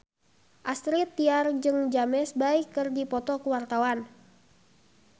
Astrid Tiar jeung James Bay keur dipoto ku wartawan